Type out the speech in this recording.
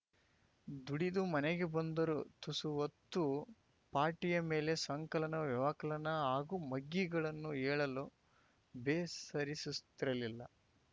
ದುಡಿದು ಮನೆಗೆ ಬಂದರೂ ತುಸು ಹೊತ್ತು ಪಾಟಿಯ ಮೇಲೆ ಸಂಕಲನ ವ್ಯವಕಲನ ಹಾಗೂ ಮಗ್ಗಿಗಳನ್ನು ಹೇಳಲು ಬೇಸರಿಸುಸ್ತಿರಲಿಲ್ಲ